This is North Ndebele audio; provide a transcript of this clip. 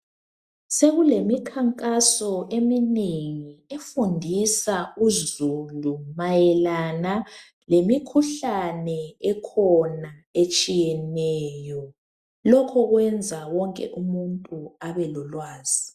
Sekulemikhankaso eminengi efundisa uzulu mayelana lemikhuhlane ekhona etshiyeneyo, lokhu kwenza wonke umuntu abelolwazi.